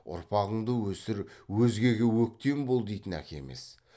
ұрпағыңды өсір өзгеге өктем бол дейтін әке емес